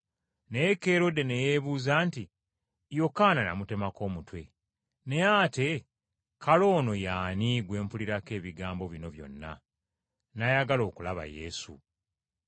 Naye Kerode ne yeebuuza nti, “Yokaana namutemako omutwe; naye ate kale ono ye ani gwe mpulirako ebigambo bino byonna?” N’ayagala okulaba Yesu.